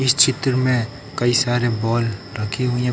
इस चित्र में कई सारे बाल रखी हुई हैं।